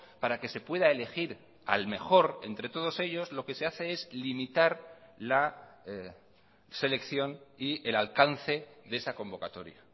para que se pueda elegir al mejor entre todos ellos lo que se hace es limitar la selección y el alcance de esa convocatoria